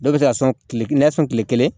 Dɔw bɛ se ka sɔn tile nɛgɛso tile kelen